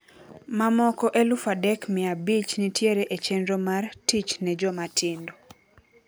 Mamoko eluf adek mia abich nitiere e chenro mar 'Tich ne Jomatindo'.